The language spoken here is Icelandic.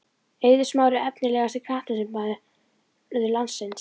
Eiður smári Efnilegasti knattspyrnumaður landsins?